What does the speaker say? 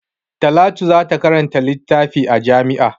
Talatu za ta karanta littafi a jami'a.